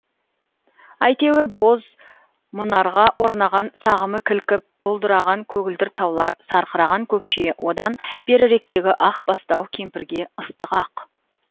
әйтеуір боз мұнарға оранған сағымы кілкіп бұлдыраған көгілдір таулар сарқыраған көкше одан беріректегі ақ бастау кемпірге ыстық ақ